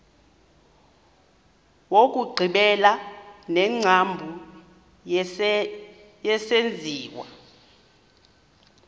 wokugqibela wengcambu yesenziwa